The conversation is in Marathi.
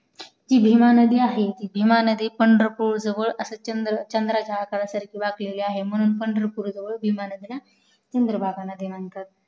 जी भीमा नदी आहे भीमा नदी पंढरपूर जवळ असा चंद्राच्या आकारासारखी वाकलेली आहे म्हणून पंढरपूर जवळ भीमा नदीला चंद्रभागा नदी म्हणतात